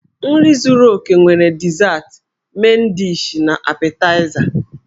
Nri zúrú óké nwere dizat, men dishi, na apetaịza.